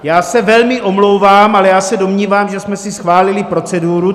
Já se velmi omlouvám, ale já se domnívám, že jsme si schválili proceduru.